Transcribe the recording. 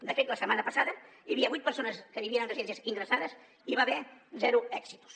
de fet la setmana passada hi havia vuit persones que vivien en residències ingressades i hi va haver zero exitus